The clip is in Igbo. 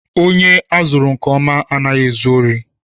Ònye azụrụ nke ọma anaghị ezu órí.